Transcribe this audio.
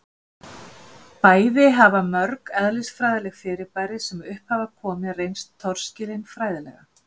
Bæði hafa mörg eðlisfræðileg fyrirbæri sem upp hafa komið reynst torskilin fræðilega